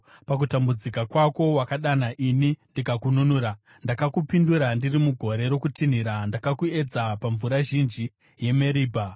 Pakutambudzika kwako wakadana ini ndikakununura, ndakakupindura ndiri mugore rokutinhira; ndakakuedza pamvura zhinji yeMeribha. Sera